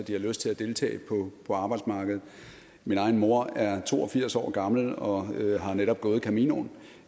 at de har lyst til at deltage på arbejdsmarkedet min egen mor er to og firs år gammel og har netop gået caminoen